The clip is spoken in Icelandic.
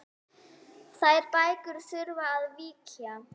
Þær bækur þurfa að víkja.